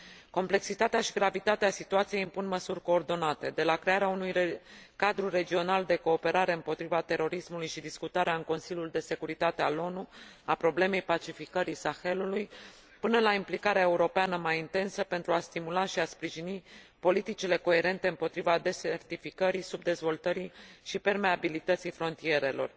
Complexitatea și gravitatea situației impun măsuri coordonate, de la crearea unui cadru regional de cooperare împotriva terorismului și discutarea în Consiliul de Securitate al ONU a problemei pacificării Sahelului, până la implicarea europeană mai intensă, pentru a stimula și a sprijini politicile coerente împotriva deșertificării, subdezvoltării și permeabilității frontierelor.